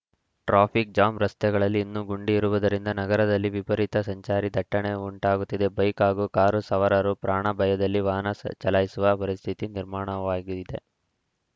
traffic jam ರಸ್ತೆಗಳಲ್ಲಿ ಇನ್ನು ಗುಂಡಿ ಇರುವುದರಿಂದ ನಗರದಲ್ಲಿ ವಿಪರೀತ ಸಂಚಾರಿ ದಟ್ಟಣೆ ಉಂಟಾಗುತ್ತಿದೆ ಬೈಕ್‌ ಹಾಗೂ ಕಾರು ಸವಾರರು ಪ್ರಾಣ ಭಯದಲ್ಲಿ ವಾಹನ ಚಾಲಾಯಿಸುವ ಪರಿಸ್ಥಿತಿ ನಿರ್ಮಾಣವಾಗಿದೆ